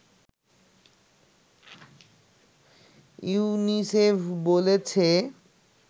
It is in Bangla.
ইউনিসেফ বলেছে